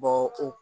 o